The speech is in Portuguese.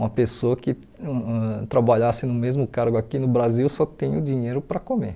Uma pessoa que ãh trabalhasse no mesmo cargo aqui no Brasil só tem o dinheiro para comer.